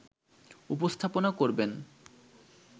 উপস্থাপনা করবেন